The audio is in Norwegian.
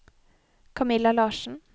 Camilla Larssen